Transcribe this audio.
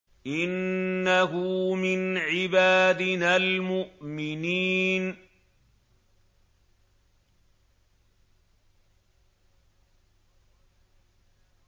إِنَّهُ مِنْ عِبَادِنَا الْمُؤْمِنِينَ